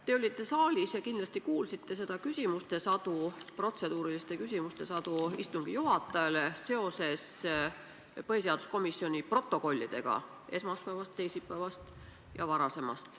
Te olite saalis ja kindlasti kuulsite seda küsimuste sadu – protseduuriliste küsimuste sadu –, mis istungi juhatajale suunati seoses põhiseaduskomisjoni protokollidega esmaspäevast, teisipäevast ja varasemast.